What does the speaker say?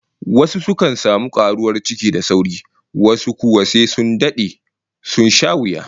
Wasu sukan samu karuwar ciki da sauri, wasu kuwa sai sun dade, sun sha wuya